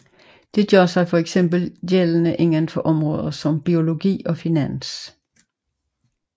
Dette gør sig fx gældende inden for områder som biologi og finans